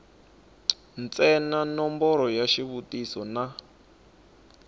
ntsena nomboro ya xivutiso na